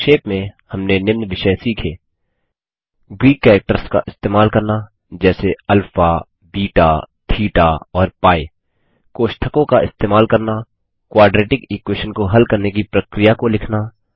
संक्षेप में हमने निम्न विषय सीखे ग्रीक कैरेक्टर्स का इस्तेमाल करना जैसे अल्फा बेटा थेटा और पी कोष्ठकों का इस्तेमाल करना क्वाड्रेटिक इक्वेशन को हल करने की प्रक्रिया को लिखना